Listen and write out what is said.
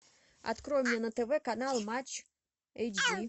открой мне на тв канал матч эйч ди